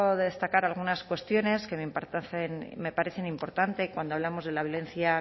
destacar algunas cuestiones que me parecen importantes cuando hablamos de la violencia